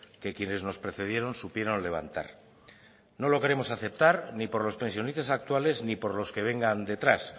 que quienes nos precedieron supieron levantar no lo queremos aceptar ni por los pensionistas actuales ni por los que vengan detrás